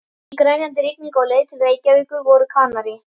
Í grenjandi rigningunni á leið til Reykjavíkur voru Kanarí